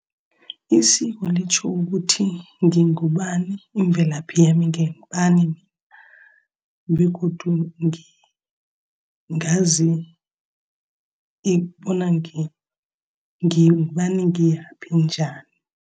Isiko litjho ukuthi, ngingubani imvelaphi yami, ngingubani. Begodu ngazi bona ngingubani ngiyaphi, nginjani.